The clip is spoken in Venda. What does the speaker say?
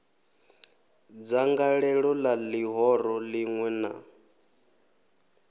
dzangalelo la lihoro linwe na